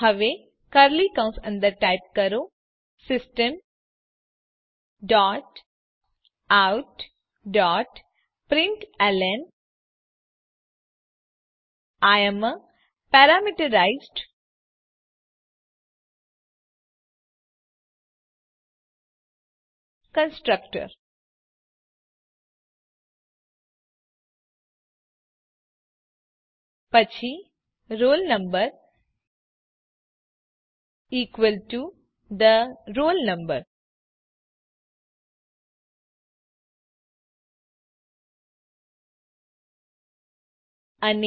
હવે કર્લી કૌસ અંદર ટાઇપ કરો system dot out dot println I am a parameterized constructor પછી roll number equal to the roll number